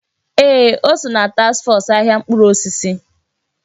Ee! O so ná taks fọs ahịa mkpụrụ osisi.